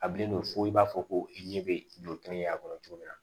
A bilen no fo i b'a fɔ ko i ɲɛ bɛ joli ɲini a kɔnɔ cogo min na